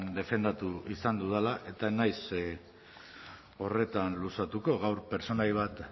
defendatu izan dudala eta ez naiz horretan luzatuko gaur pertsonai bat